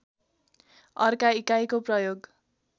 अर्का इकाइको प्रयोग